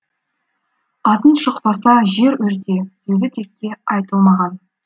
атың шықпаса жер өрте сөзі текке айтылмаған